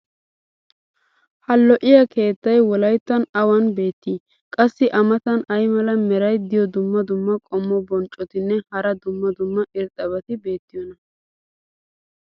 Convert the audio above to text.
ha lo'iyaa keettay wolayttan awan beetii? qassi a matan ay mala meray diyo dumma dumma qommo bonccotinne hara dumma dumma irxxabati beetiyoonaa?